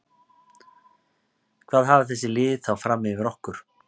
Hvað hafa þessi lið þá fram yfir okkur?